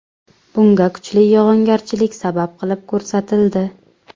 Bunga kuchli yog‘ingarchilik sabab qilib ko‘rsatildi.